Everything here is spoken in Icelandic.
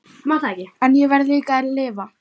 En ég verð líka að lifa.